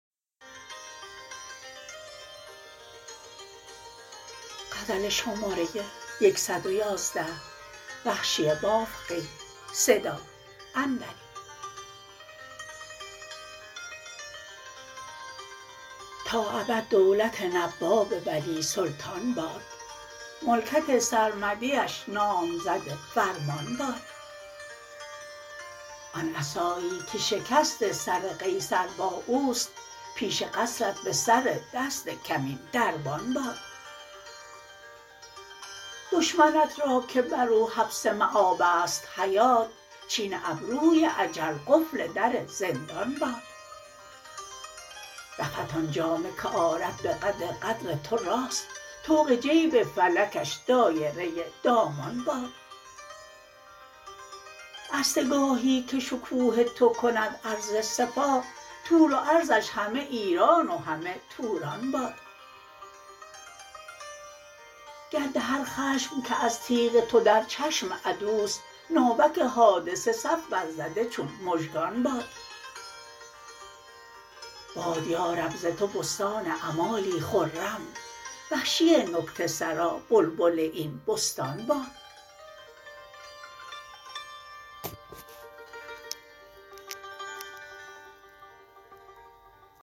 تا ابد دولت نواب ولی سلطان باد ملکت سرمدیش نامزد فرمان باد آن عصایی که شکست سر قیصر با اوست پیش قصرت به سر دست کمین دربان باد دشمنت راکه برو حبس مبست حیات چین ابروی اجل قفل در زندان باد رفعت آن جامه که آرد به قد قدر تو راست طوق جیب فلکش دایره دامان باد عرصه گاهی که شکوه تو کند عرض سپاه طول و عرضش همه ایران و همه توران باد گرد هر خشم که از تیغ تو در چشم عدوست ناوک حادثه صف برزده چون مژگان باد باد یارب ز تو بستان امالی خرم وحشی نکته سرا بلبل این بستان باد